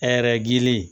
Hɛrɛ gili